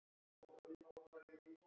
Verjast Dönum!